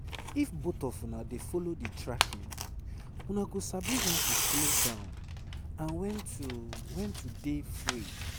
if both of una dey follow the tracking una go sabi when to slow down and when to when to dey free